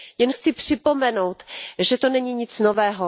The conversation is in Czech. Jen chci připomenout, že to není nic nového.